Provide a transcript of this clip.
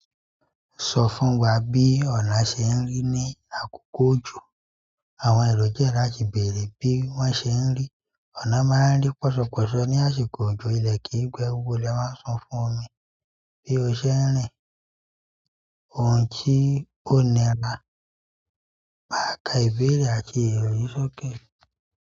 Sọ fún wa bí ọ̀nà ṣe ń rí ní àkókò òjò. Àwọn èrò jẹ̀dá àti bèrè bí wọ́n ṣe ń rí. Ànọn máa rí pọsọpọsọ ní ásìkò òjò. Ilẹ̀ kì í gbẹ. Gbogbo ile máa ń fún fún ni bí ó ṣe ń rìn. Ohun tí ó nira, mà ka ìbéèrè àti èrò yìí sókè.